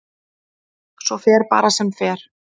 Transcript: Svo fer bara sem fer.